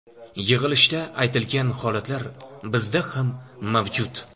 Yig‘ilishda aytilgan holatlar bizda ham mavjud.